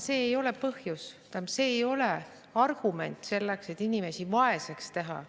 See ei ole põhjus ega argument, et inimesi vaeseks teha.